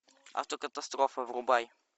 автокатастрофа врубай